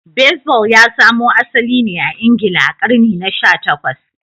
Baseball ya samo asali ne a Ingila a karni na sha takwas